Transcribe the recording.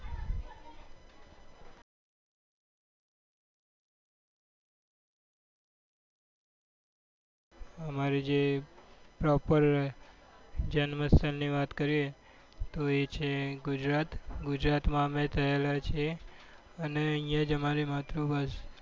અમારી જે proper જન્મસ્થળ ની વાત કરીએ તો એ છે ગુજરાત ગુજરાત માં અમે થયેલા છીએ અને અહિયાં જ અમારી માતૃભાષા